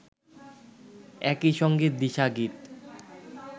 একই সঙ্গে দিশা গীত